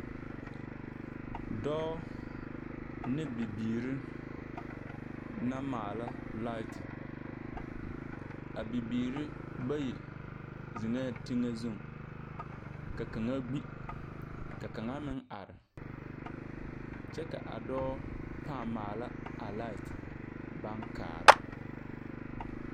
Dɔɔ ne bibiir naŋ maala laete. A bibiiri bayi zeŋɛɛ teŋɛ zuŋ, ka kaŋa gbi, ka kaŋa meŋ are. Kyɛ ka a dɔɔ pãã maala a laet baŋ kaara.